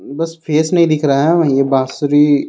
बस फेस नहीं दिख रहा है वही यह बांसुरी--